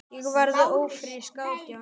Ég varð ófrísk átján ára.